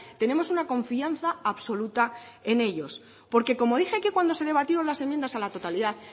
tenemos una confianza absoluta en ellos porque como dije aquí cuando se debatieron las enmiendas a la totalidad